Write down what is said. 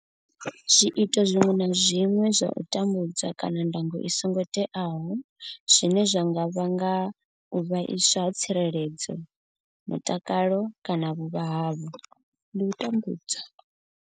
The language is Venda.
Zwiito zwiṅwe na zwiṅwe zwa u tambudza kana ndango i songo teaho zwine zwa nga vhanga u vhaiswa ha tsireledzo, mutakalo kana vhuvha havho ndi u tambudzwa.